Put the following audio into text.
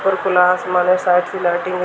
और खुला आसमान है साइड से लाइटिंग ह --